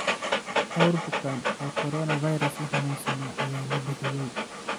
Dhawr bukaan oo coronavirus laaxanunsana ayaa la bixiyey.